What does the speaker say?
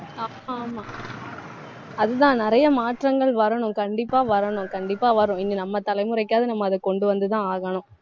ஆ~ ஆமா அதுதான் நிறைய மாற்றங்கள் வரணும் கண்டிப்பா வரணும். கண்டிப்பா வரும். இனி நம்ம தலைமுறைக்காவது நம்ம அதை கொண்டு வந்துதான் ஆகணும்